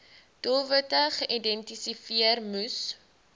doelwitte geïdentifiseer moes